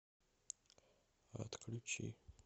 отключи